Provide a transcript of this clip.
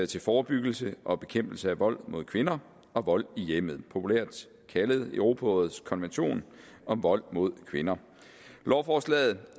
til forebyggelse og bekæmpelse af vold mod kvinder og vold i hjemmet populært kaldet europarådets konvention om vold mod kvinder lovforslaget